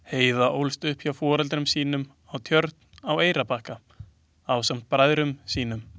Heiða ólst upp hjá foreldrum sínum á Tjörn á Eyrarbakka ásamt bræðrum sínum.